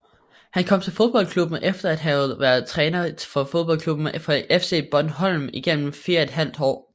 Han kom til fodboldklubben efter at have været træner for fodboldklubben FC Bornholm igennem 4½ år